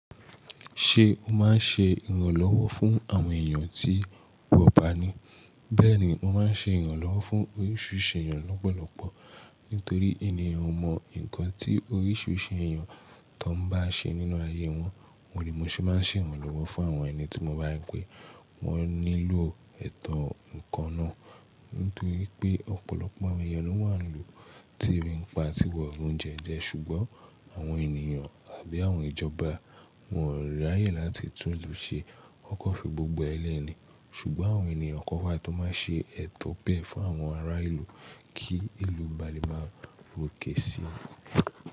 Ṣé o màá n ṣe ìrànlọ́wọ́ fún àwọn èèyàn tí wọ́n bá ni? Bẹ́ẹ̀ni, mo ma n ṣe ìrànlọ́wọ́ fún oríṣìíríṣìí èèyàn lọ́pọ̀lọpọ̀. Nítorí ènìyàn o mọ nǹkan tí oríṣìíríṣìí èèyàn tó n ba ṣe nínú ayé wọn. Òun ni mo ṣe ma n ṣe ìrànlọ́wọ́ fún àwọn ẹni tí mo bá ri pe. Wọ́n nílò ẹ̀tọ́ nǹkan náà. Nítorí pé ọ̀pọ̀lọpọ̀ àwọn èèyàn ló wà nílùú tí ẹbí npa ti wọ̀ ri oúnjẹ jẹ, ṣùgbọ́n àwọn ènìyàn àbí àwọn ìjọba wọ́n o ra yẹ láti tún ìlú ṣe. Wọ́n kò fi gbogbo ẹ lẹ́ni ṣùgbọ́n àwọn ènìyàn kọ̀ wa tó ma n ṣe ẹ̀tọ́ bẹ́ẹ̀ fún àwọn ará ìlú kí ìlú balẹ̀ máa ròkè si.